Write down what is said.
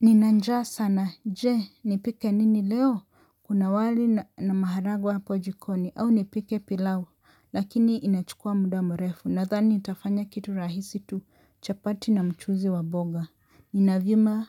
Nina njaa sana, je, nipike nini leo, kuna wali na maharagwe hapo jikoni, au nipike pilau, lakini inachukua muda mrefu, nathani nitafanya kitu rahisi tu, chapati na mchuzi wa mboga. Nina vyuma,